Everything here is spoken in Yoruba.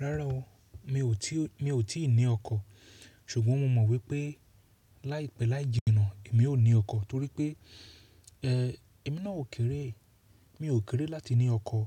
Rárá o, mi ò tí, mi ò tí ì ní oko. Ṣùgbọ́n mo mọ̀ wípé láìpẹ́ láì jìnà èmi ó ní ọkọ̀ torípé, ẹ, èmi náà ó kéré. Mi ò kéré láti ní ọkọ̀.